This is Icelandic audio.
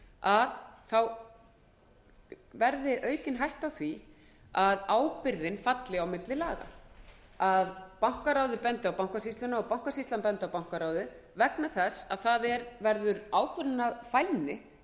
yfirbankaráð í bankasýslunni aukist sú hætta að ábyrgðin falli á milli laga að bankaráðið bendi á bankasýsluna og bankasýslan á bankaráðið það verður ákvörðunarfælni